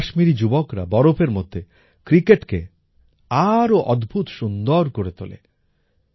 তরুণ কাশ্মিরী যুবকরা বরফের মধ্যে ক্রিকেটকে আরও অদ্ভুত সুন্দর করে তোলে